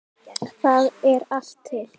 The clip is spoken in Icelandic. Þar er allt til.